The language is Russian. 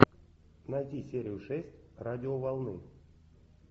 найти серию шесть радиоволны